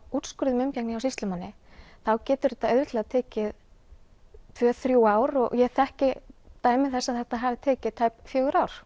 úrskurð um umgengni hjá sýslumanni þá getur þetta auðveldlega tekið tvö til þrjú ár og ég þekki dæmi þess að þetta hafi tekið tæp fjögur ár